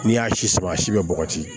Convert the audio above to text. N'i y'a si sama a si bɛ bɔgɔti